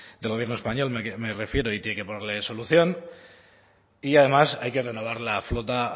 del gobierno español me refiero y tiene que ponerle solución y además hay que renovar la flota